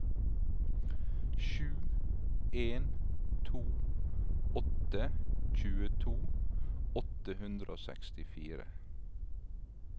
sju en to åtte tjueto åtte hundre og sekstifire